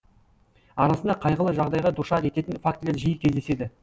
арасында қайғылы жағдайға душар ететін фактілер жиі кездеседі